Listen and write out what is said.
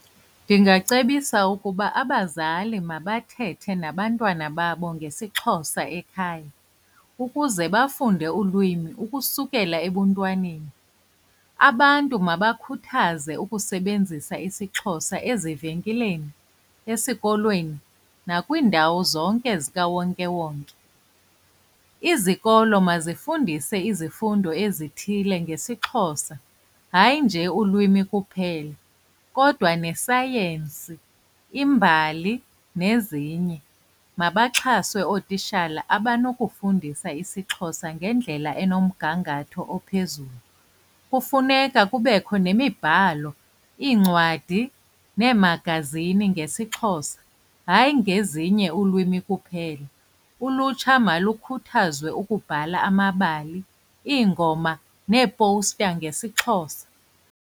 Ndingacebisa ukuba abazali mabathethe nabantwana babo ngesiXhosa ekhaya ukuze bafunde ulwimi ukusukela ebuntwaneni. Abantu mabakhuthaze ukusebenzisa isiXhosa ezivenkileni, esikolweni nakwiindawo zonke zikawonkewonke. Izikolo mazifundise izifundo ezithile ngesiXhosa, hayi nje ulwimi kuphela kodwa nesayensi, imbali nezinye. Mabaxhaswe ootishala abanokufundisa isiXhosa ngendlela enomgangatho ophezulu. Kufuneka kubekho nemibhalo, iincwadi neemagazini ngesiXhosa, hayi ngezinye ulwimi kuphela. Ulutsha malukhuthazwe ukubhala amabali iingoma neeposta ngesiXhosa.